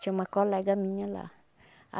Tinha uma colega minha lá.